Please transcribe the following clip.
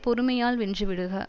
பொறுமையால் வென்றுவிடுக